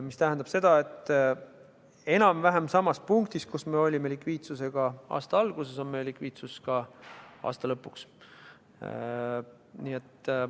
See tähendab seda, et enam-vähem samas punktis, kus me olime likviidsusega aasta alguses, oleme likviidsusega ka aasta lõpus.